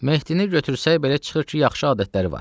Mehdini götürsək belə çıxır ki, yaxşı adətləri var.